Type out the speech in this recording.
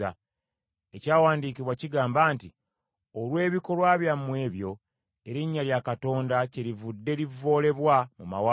Ekyawandiikibwa kigamba nti, “Olw’ebikolwa byammwe ebyo, erinnya lya Katonda kyelivudde livvoolebwa mu mawanga.”